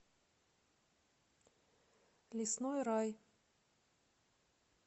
лесной рай